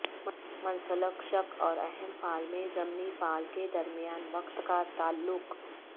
منسلک شق اور اہم فعل میں ضمنی فعل کے درمیان وقت کا تعلق